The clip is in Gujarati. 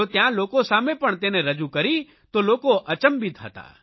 તો ત્યાં લોકો સામે પણ તેને રજૂ કરી તો લોકો અચંબિત હતા